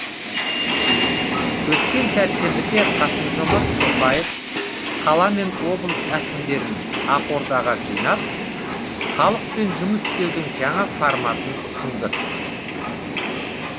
өткен сәрсенбіде қасым жомарт тоқаев қала мен облыс әкімдерін ақордаға жинап халықпен жұмыс істеудің жаңа форматын ұсынды